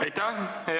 Aitäh!